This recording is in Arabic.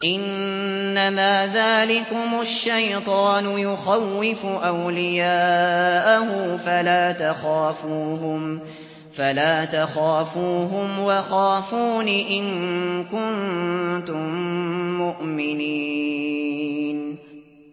إِنَّمَا ذَٰلِكُمُ الشَّيْطَانُ يُخَوِّفُ أَوْلِيَاءَهُ فَلَا تَخَافُوهُمْ وَخَافُونِ إِن كُنتُم مُّؤْمِنِينَ